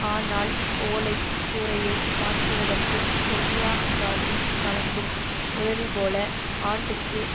ஆனால் ஓலை கூரையை மாற்றுவதற்கு சோனியா காந்தி வழங்கும் உதவிபோல ஆண்டுக்கு